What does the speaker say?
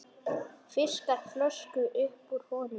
Fiskar flösku upp úr honum.